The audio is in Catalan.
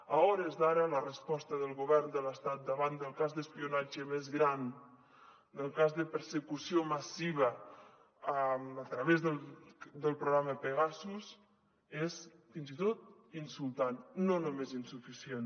a hores d’ara la resposta del govern de l’estat davant del cas d’espionatge més gran del cas de persecució massiva a través del programa pegasus és fins i tot insultant no només insuficient